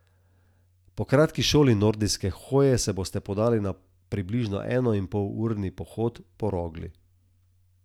Po kratki šoli nordijske hoje se boste podali na približno enoinpolurni pohod po Rogli.